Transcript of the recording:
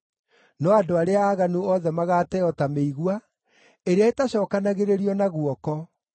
No andũ arĩa aaganu othe magaateo ta mĩigua, ĩrĩa ĩtacookanagĩrĩrio na guoko.